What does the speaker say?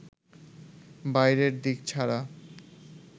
বাইরের দিক ছাড়া